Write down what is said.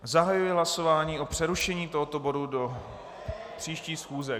Zahajuji hlasování o přerušení tohoto bodu do příští schůze.